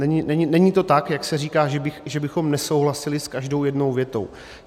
Není to tak, jak se říká, že bychom nesouhlasili s každou jednou větou.